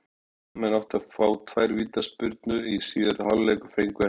Skagamenn áttu svo að fá tvær vítaspyrnu í síðari hálfleik en fengu ekki.